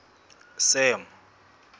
sam